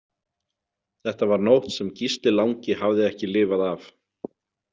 Þetta var nótt sem Gísli langi hafði ekki lifað af.